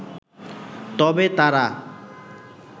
তবে তারা